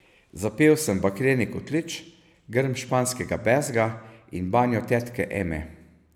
Zapel sem Bakreni kotlič, Grm španskega bezga in Banjo tetke Eme.